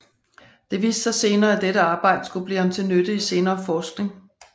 Det viste sig senere at dette arbejde skulle blive ham til nytte i senere forskning